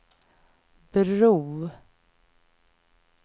bro